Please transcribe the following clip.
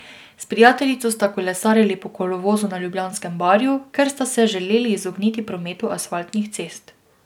S prijateljico sta kolesarili po kolovozu na Ljubljanskem barju, ker sta se želeli izogniti prometu asfaltnih cest.